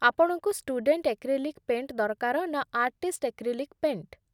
ଆପଣଙ୍କୁ student acrylic paint ଦରକାର ନା ଆର୍ଟିଷ୍ଟ ଏକ୍ରିଲିକ୍ ପେଣ୍ଟ୍?